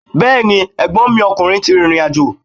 Bẹ́ẹ̀ni, ẹ̀gbọ́nmi ọkùnrin ti rìrìn àjò.